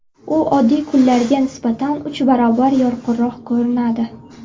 U oddiy kunlarga nisbatan uch barobar yorqinroq ko‘rinadi.